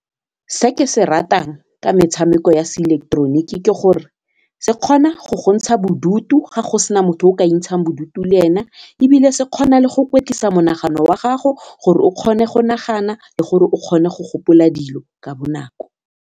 Se ke se ratang ka metshameko ya se ileketeroniki ke gore se kgona go go ntsha bodutu ga go sena motho o ka ikentshang bodutu le ena ebile se kgona le go kwetlisa monagano wa gago gore o kgone go nagana le gore o kgone go gopola dilo ka bonako.